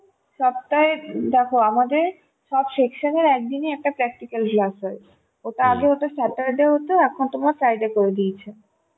সপ্তাহে, দেখো আমাদের সব section এ একদিনে একটা করে একটা practical class হয় আগে ওটা Saturday হতো এখন ওটা Friday করে দিয়েছে